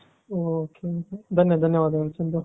ok ok ಧನ್ಯ ಧನ್ಯವಾದಗಳು ಚಂದು .